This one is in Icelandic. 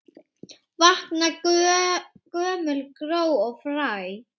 Vakna gömul gró og fræ.